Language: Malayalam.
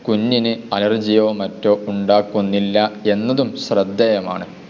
കുഞ്ഞിനെ അലെർജിയൊ മറ്റൊ ഉണ്ടാക്കുന്നില്ല എന്നതും ശ്രദ്ധേയമാണ്.